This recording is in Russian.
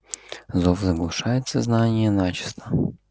зов заглушает сознание начисто